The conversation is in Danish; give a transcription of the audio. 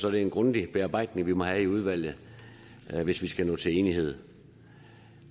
er det en grundig bearbejdning vi må have i udvalget hvis vi skal nå til enighed